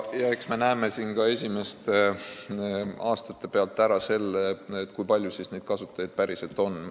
Eks me näeme ka esimeste aastate põhjal ära, kui palju neid kasutajaid päriselt on.